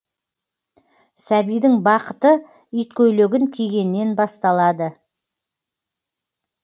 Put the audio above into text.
сәбидің бақыты иткөйлегін кигеннен басталады